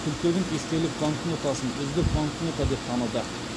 күлтегін естелік банкнотасын үздік банкнота деп таныды